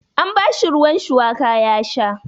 An bashi ruwan shuwaka ya sha.